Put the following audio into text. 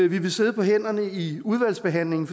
vil sidde på hænderne i udvalgsbehandlingen